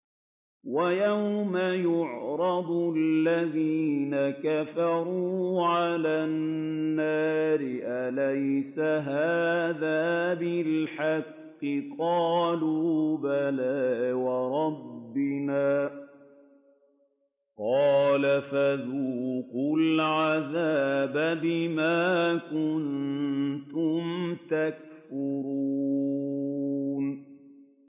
وَيَوْمَ يُعْرَضُ الَّذِينَ كَفَرُوا عَلَى النَّارِ أَلَيْسَ هَٰذَا بِالْحَقِّ ۖ قَالُوا بَلَىٰ وَرَبِّنَا ۚ قَالَ فَذُوقُوا الْعَذَابَ بِمَا كُنتُمْ تَكْفُرُونَ